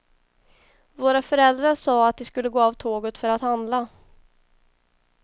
Våra föräldrar sa att de skulle gå av tåget för att handla.